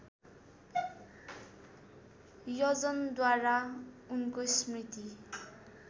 यजनद्वारा उनको स्मृति